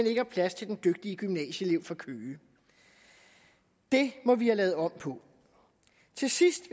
ikke har plads til den dygtige gymnasieelev fra køge det må vi have lavet om på til sidst